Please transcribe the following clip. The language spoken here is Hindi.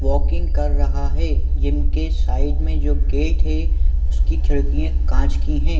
वॉकिंग कर रहा है जिनके साइड में जो गेट हे उसकी खिड़किया कांच की है।